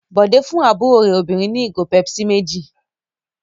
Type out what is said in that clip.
Bọ̀dé fún àbúrò rẹ̀ obìnrin ní ìgò Pepsi méjì.